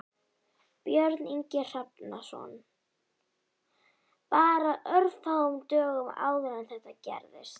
Björn Ingi Hrafnsson: Bara örfáum dögum áður en þetta gerðist?